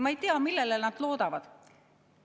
Ma ei tea, millele nad loodavad.